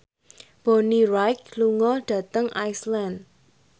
Bonnie Wright lunga dhateng Iceland